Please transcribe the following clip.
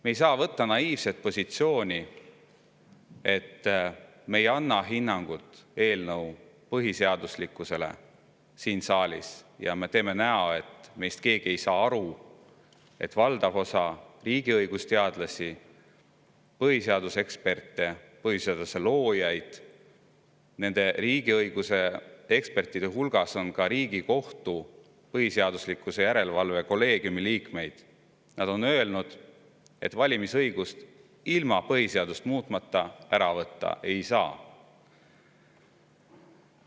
Me ei saa võtta naiivset positsiooni, et me ei anna siin saalis hinnangut eelnõu põhiseaduslikkusele, ja teha nägu, nagu meist keegi ei oleks aru saanud, et valdav osa riigi õigusteadlasi, põhiseaduse eksperte, põhiseaduse loojaid – riigiõiguse ekspertide hulgas on ka Riigikohtu põhiseaduslikkuse järelevalve kolleegiumi liikmeid – on öelnud, et valimisõigust ilma põhiseadust muutmata ära võtta ei saa.